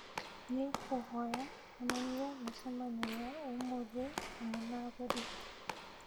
nĩ ngũkũhoya onania mĩcemanio ya ũmũthĩ hamwe na agũri